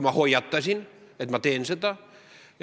Ma hoiatasin, et ma teen seda.